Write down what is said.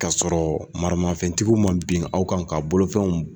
kasɔrɔ maramafɛntigiw ma bin aw kan k'aw bolofɛnw